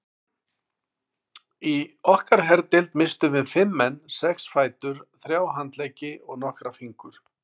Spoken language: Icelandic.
Í okkar herdeild misstum við fimm menn, sex fætur, þrjá handleggi og nokkra fingur.